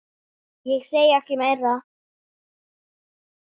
Ég segi ekkert meira.